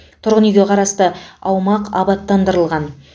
тұрғын үйге қарасты аумақ абаттандырылған